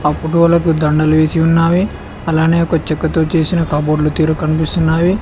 ఫొటోలకు దండలు వేసి ఉన్నావి అలానే ఒక చెక్కతో చేసిన కబోడ్లు తీరు కనిపిస్తున్నావి.